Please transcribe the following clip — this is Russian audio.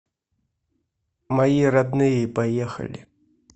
мои родные поехали